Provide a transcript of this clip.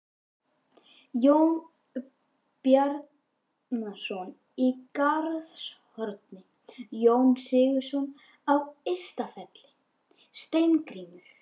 Jón Bjarnason í Garðshorni, Jón Sigurðsson á Ystafelli, Steingrímur